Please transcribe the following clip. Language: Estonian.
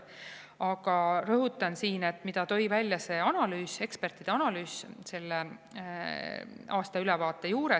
Aga rõhutan siin, mida tõi välja see ekspertide analüüs selle aastaülevaate puhul.